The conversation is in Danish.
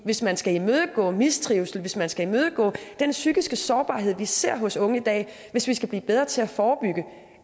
hvis man skal imødegå mistrivsel hvis man skal imødegå den psykiske sårbarhed vi ser hos unge i dag hvis vi skal blive bedre til at forebygge